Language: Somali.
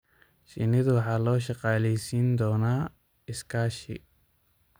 Shinnidu waxa loo shaqaaleysiin doonaa iskaashi.